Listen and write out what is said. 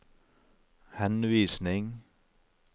henvisning